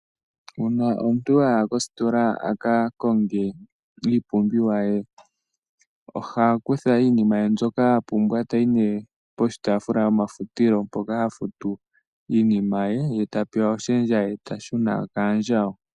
Uuna omuntu aya kositola a ka konge iipumbiwa ye, oha kutha iinima ye mbyoka apumbwa tayi ne poshitaafula shomafutilo mpoka hafutu iinima ye, ye ta pewa oshendja eta shuna kaandjawo.